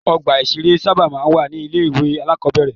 Ọgbà-ìṣeré sábà máa ń wà ní ilé-ìwé alákọ̀ọ́bẹ̀rẹ̀.